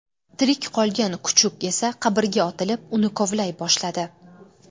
Tirik qolgan kuchuk esa qabrga otilib, uni kovlay boshladi.